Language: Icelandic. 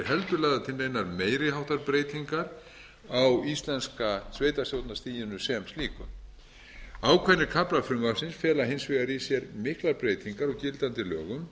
lagðar til neinar meiri háttar breytingar á íslenska sveitarstjórnarstiginu sem slíku ákveðnir kaflar frumvarpsins fela hins vegar í sér miklar breytingar á gildandi lögum